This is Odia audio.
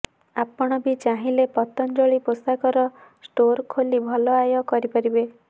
ଆପଣ ବି ଚାହିଁଲେ ପତଞ୍ଜଳି ପୋଷାକର ଷ୍ଟୋର୍ ଖୋଲି ଭଲ ଆୟ କରିପାରିବେ